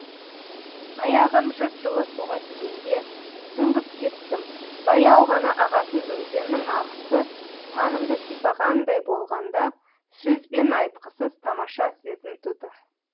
аяғым жып жылы суға тигенде сүңгіп кеттім баяу ғана ағатын өзеннің ағысы санымды сипағандай болғанда сөзбен айтқысыз тамаша сезім туды